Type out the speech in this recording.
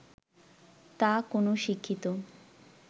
তা কোন শিক্ষিত